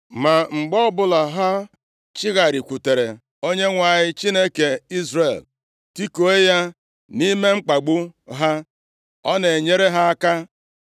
Ma mgbe ọbụla ha chigharịkwutere Onyenwe anyị, Chineke Izrel tikuo ya nʼime mkpagbu ha, ọ na-enyere ha aka.